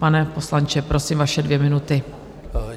Pane poslanče, prosím, vaše dvě minuty.